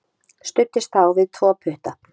Studdist þá við tvo putta.